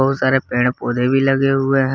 बहुत सारे पेड़ पौधे भी लगे हुए हैं।